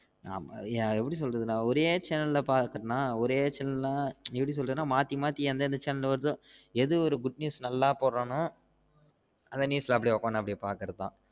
அது நா எப்டி சொல்றது நா ஒரே channel ல பாக்குறேனா ஒரே channel னா எப்டி சொல்றது மாத்தி மாத்தி எந்தெந்த channel வருத எது ஒரு good news நல்லா போடுரான்னோ அத news ல அப்டியே உக்காந்து பாக்குறது தான்